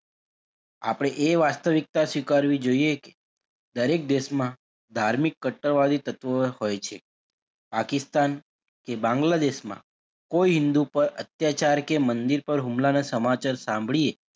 આપડે એ વાસ્તવિકતા સ્વીકારવી જોઈએ કે દરેક દેશમાં ધાર્મિક કટ્ટરવાદી તત્વો હોય છે પાકિસ્તાન કે બાંગ્લાદેશમાં કોઈ હિંદુ પર અત્યાચાર કે મંદિર પર હુમલાનાં સમાચાર સાંભળીયે,